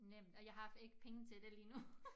Nemt og jeg har ikke penge til det lige nu